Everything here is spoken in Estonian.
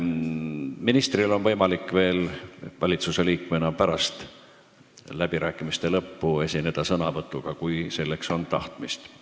Ministril on võimalik valitsusliikmena pärast läbirääkimiste lõppu sõna võtta, kui tal on selleks tahtmist.